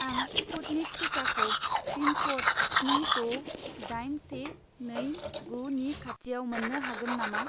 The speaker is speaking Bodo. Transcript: आं स्पुटनिक टिकाखौ पिन क'ड स्नि द' दाइन से नै गु नि खाथिआव मोन्नो हागोन नामा